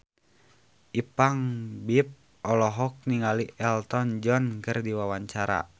Ipank BIP olohok ningali Elton John keur diwawancara